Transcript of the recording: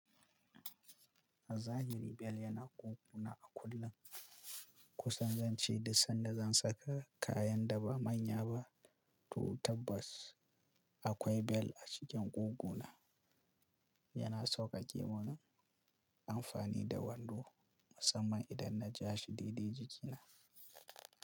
A zahiri bel yana ƙugu na a kullun. Kusan zan ce duk sanda zan saka kayan da ba manya ba, to tabbas akwai bel a cikin ƙugu na. Yana sauƙaƙe mun amfani da wando musamman idan na ja shi daidai jikina.